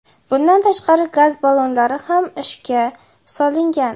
Bundan tashqari, gaz ballonlari ham ishga solingan.